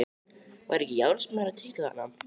Var ekki járnsmiður að trítla þarna?